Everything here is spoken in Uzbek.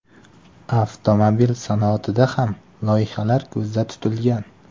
Avtomobil sanoatida ham loyihalar ko‘zda tutilgan.